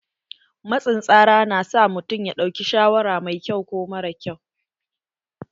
Matsin tsara na sa mutum ya ɗauki shawara mai ƙyau ko mara ƙyau.